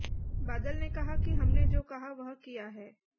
बादल ने कहा कि हमने जो कहा वह किया है